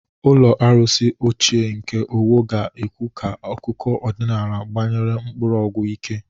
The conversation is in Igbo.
Ụlọ arụsị ochie nke Owo ga-ekwu ka akụkọ ọdịnala gbanyere mkpọrọgwụ ike.